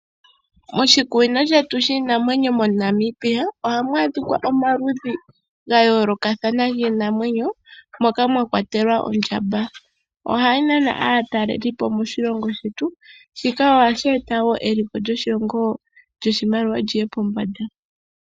Moshikunino shetu shiinamwenyo moNamibia ohamu adhika omaludhi ga yoolokathana giinamwenyo moka mwa kwatelwa ondjamba ohayi na aatalelipo moshilongo shetu shika ohashi eta wo eliko lyoshimaliwa liye pombanda .